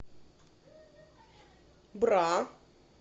бра